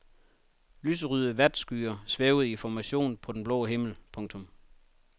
Lyserøde vatskyer svæver i formation på den blå himmel. punktum